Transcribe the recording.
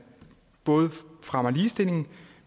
både fremmer ligestillingen